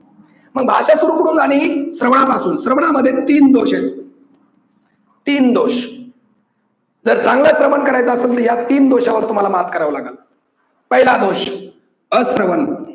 मग भाषा सुरू कुठून झाली श्रवणापासून. श्रवणामध्ये तीन दोष आहेत. तीन दोष जर चांगलं श्रवण करायचं असेल तर या तीन दोषांवर तुम्हाला मात करावी लागल. पहिला दोष अश्रवण.